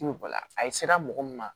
a sera mɔgɔ min ma